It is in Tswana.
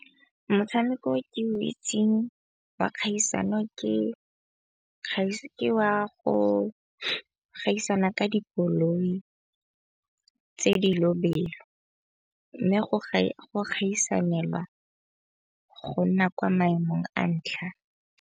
Motshameko o ke o itseng wa kgaisano ke wa go gaisana ka dikoloi tse di lobelo. Mme go gaisanelwa go nna kwa maemong a ntlha.